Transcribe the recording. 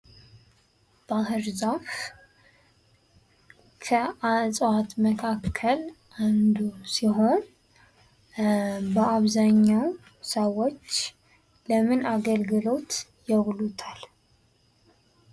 ባህር ዛፍ ከዕፅዋት አይነቶች መካከል አንዱ ሲሆን ፤ በአብዛኛው ሰዎች ለምን አገልግሎት ያውሉታል?